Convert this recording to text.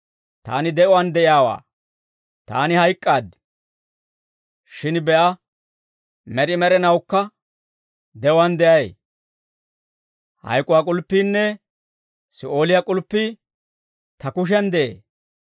Taani de'uwaan de'iyaawaa. Taani hayk'k'aaddi; shin be'a, med'i med'inawukka de'uwaan de'ay. Hayk'uwaa k'ulppiinne Si'ooliyaa k'ulppii ta kushiyan de'ee.